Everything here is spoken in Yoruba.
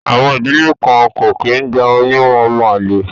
Àwọn ìdílé kan kì í gba oyún ọmọ àlè